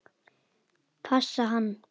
Passa hann?